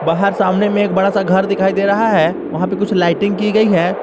बाहर सामने में एक बड़ा सा घर दिखाई दे रहा है वहां पे कुछ लाइटिंग की गई है।